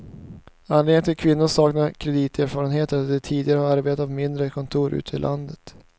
Anledningen till att kvinnorna saknar krediterfarenhet är att de tidigare har arbetat på mindre kontor ute i landet.